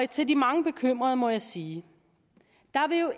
til de mange bekymrede må jeg sige